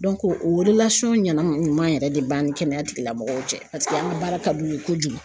o ɲɛnama ɲuman yɛrɛ de b'an ni kɛnɛya tigilamɔgɔw cɛ, paseke an ka baara ka d'u ye kojugu.